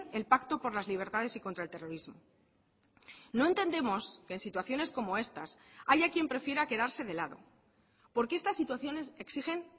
el pacto por las libertades y contra el terrorismo no entendemos que en situaciones como estas haya quien prefiera quedarse de lado porque estas situaciones exigen